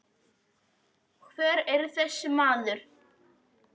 Hver var þessi maður?